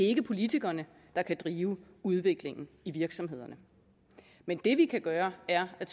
ikke politikerne der kan drive udviklingen i virksomhederne men det vi kan gøre er at